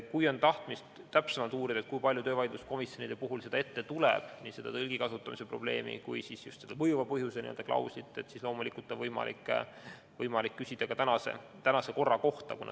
Kui on tahtmist täpsemalt uurida, kui palju töövaidluskomisjonide puhul seda ette tuleb – nii seda tõlgi kasutamise probleemi kui ka mõjuva põhjuse klauslit –, siis loomulikult on võimalik küsida praegusi andmeid.